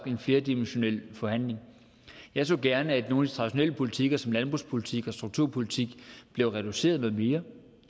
en flerdimensional forhandling jeg så gerne at nogle traditionelle politikker som landbrugspolitik og strukturpolitik blev reduceret noget mere